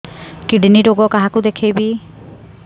kidney ରୋଗ କାହାକୁ ଦେଖେଇବି